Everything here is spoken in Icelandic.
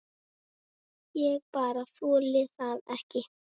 Ég bara þoli það ekki.